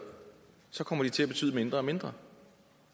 så kommer de til at betyde mindre og mindre